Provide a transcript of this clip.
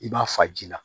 I b'a fa ji la